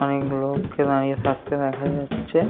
অনেক লোক কে দাঁড়িয়ে থাকতে দেখা যাচ্ছে-এ।